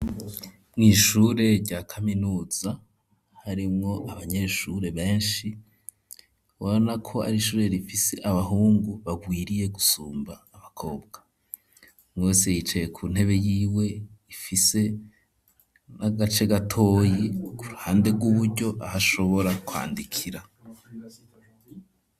Mw'ishure rya kaminuza harimwo abanyeshure beshi urabona ko ari shure rifise abahungu barwiriye gusumba abakobwa, umwe wese yicaye ku ntebe yiwe ifise n'agace gatoyi ku ruhande rw'uburyo aho ashobora kwandikira.